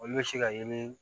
Olu bɛ se ka yeli